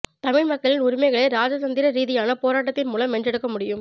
தமிழ் மக்களின் உரிமைகளை இராஜதந்திர ரீதியான போராட்டத்தின் மூலம் வென்றெடுக்க முடியும்